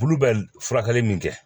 Bulu bɛ furakɛli min kɛ